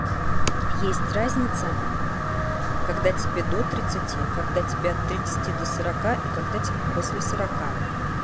есть разница когда тебе до тридцати когда тебе от тридцати до сорока и когда тебе после сорока